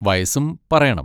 വയസ്സും പറയണം.